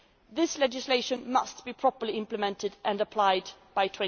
This legislation must be properly implemented and applied